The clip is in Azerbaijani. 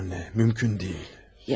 Hayır anne, mümkün deyil.